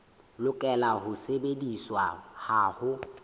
lokela ho sebediswa ha ho